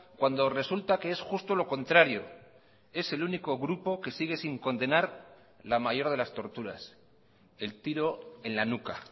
cuando resulta que es justo lo contrario es el único grupo que sigue sin condenar la mayor de las torturas el tiro en la nuca